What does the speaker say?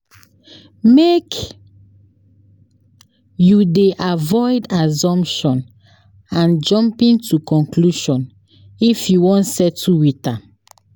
Make you dey avoid assumption and jumping to conclusion if you wan settle wit am.